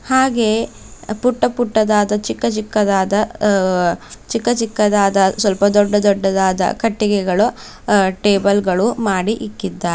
ಹಾಗೆ ಪುಟ್ಟ ಪುಟ್ಟದಾದ ಚಿಕ್ಕ ಚಿಕ್ಕದಾದ ಚಿಕ್ಕ ಚಿಕ್ಕದಾದ ಸ್ವಲ್ಪ ದೊಡ್ಡದಾದಾ ಕಟ್ಟಿಗೆಗಳು ಟೇಬಲ್ ಗಳು ಮಾಡಿ ಇಟ್ಟಿದ್ದಾರೆ--